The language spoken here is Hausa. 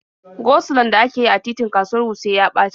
Go-sulon da ake yi a titin kasuwar Wuse ya ɓaci.